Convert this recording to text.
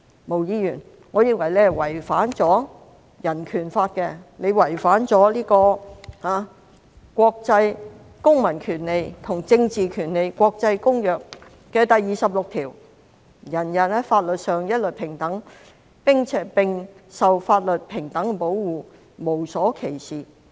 毛議員，我認為你違反了《香港人權法案條例》及《公民權利和政治權利國際公約》第二十六條，每人在法律上一律平等，並受法律平等的保護，無所歧視。